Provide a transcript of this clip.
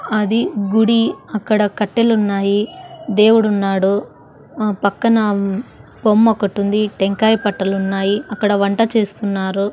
అది గుడి అక్కడ కట్టెలు ఉన్నాయి దేవుడున్నాడు ఆ పక్కన బొమ్మ ఒకటి ఉంది టెంకాయ పట్టలున్నా యి అక్కడ వంట చేస్తున్నారు.